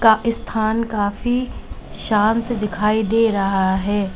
का स्थान काफी शांत दिखाई दे रहा है।